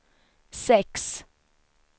sex